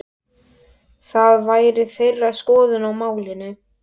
Það væri þeirra skoðun á málinu?